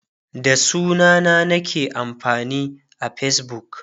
da sunana nake amfani a Facebook